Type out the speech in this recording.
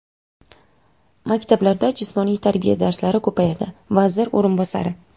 Maktablarda jismoniy tarbiya darslari ko‘payadi — vazir o‘rinbosari.